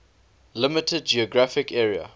limited geographic area